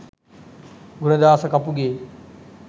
Gunadasa Kapuge